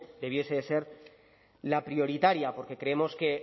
debiera de ser la prioritaria porque creemos que